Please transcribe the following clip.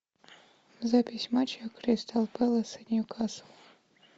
запись матча кристал пэлас и ньюкасл